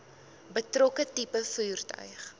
betrokke tipe voertuig